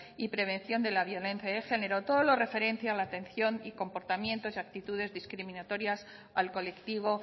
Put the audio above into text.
y prevención de la violencia de género todo lo referencia a la atención y comportamientos y actitudes discriminatorias al colectivo